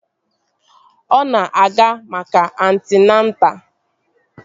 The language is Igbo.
Ọ na-aga maka antịnata